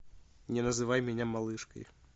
не называй меня малышкой